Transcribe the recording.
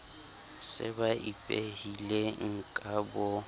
se ba ipehileng ka bo